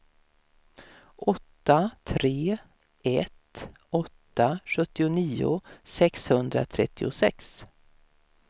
åtta tre ett åtta sjuttionio sexhundratrettiosex